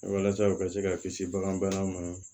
Walasa u ka se ka kisi bagan bana ma